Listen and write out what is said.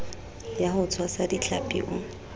ya ho tshwasa dihlapi o